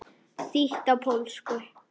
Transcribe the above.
Þýtt á pólsku.